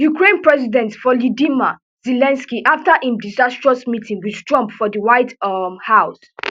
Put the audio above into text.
ukraine president volidima zelensky afta im disastrous meeting wit trump for di white um house